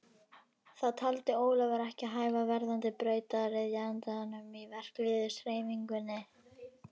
Það taldi Ólafur ekki hæfa verðandi brautryðjanda í verkalýðshreyfingunni.